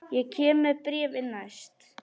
Ég kem með bréfin næst.